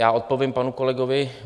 Já odpovím panu kolegovi